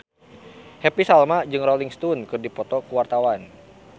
Happy Salma jeung Rolling Stone keur dipoto ku wartawan